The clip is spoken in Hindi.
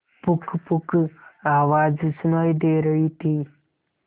पुकपुक आवाज सुनाई दे रही थी